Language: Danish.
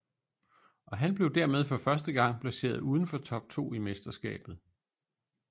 Og han blev dermed for første gang placeret uden for top 2 i mesterskabet